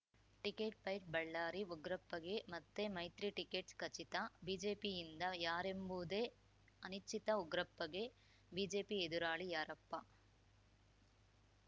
ticket fight Ballari ಉಗ್ರಪ್ಪಗೆ ಮತ್ತೆ ಮೈತ್ರಿ ಟಿಕೆಟ್‌ ಖಚಿತ ಬಿಜೆಪಿಯಿಂದ ಯಾರೆಂಬುದೇ ಅನಿಶ್ಚಿತ ಉಗ್ರಪ್ಪಗೆ ಬಿಜೆಪಿ ಎದುರಾಳಿ ಯಾರಪ್ಪ